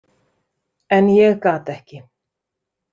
En ég gat ekki.